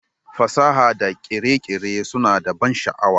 Fasaha da kere-kere suna da ban sha'awa